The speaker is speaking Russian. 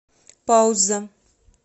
пауза